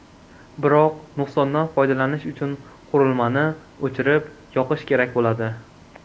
Biroq nuqsondan foydalanish uchun qurilmani o‘chirib-yoqish kerak bo‘ladi.